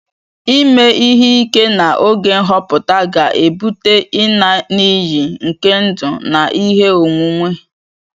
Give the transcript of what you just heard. Ịme ihe ike na oge nhọpụta ga-ebute ịna n'iyi nke ndụ na ihe onwunwe